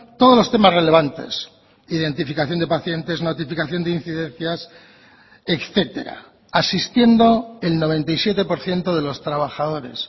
todos los temas relevantes identificación de pacientes notificación de incidencias etcétera asistiendo el noventa y siete por ciento de los trabajadores